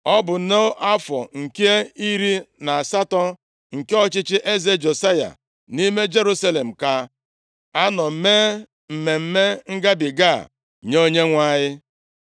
Ma ọ bụ nʼafọ nke iri na asatọ nke ọchịchị eze Josaya, nʼime Jerusalem ka a nọ mee Mmemme Ngabiga a nye Onyenwe anyị.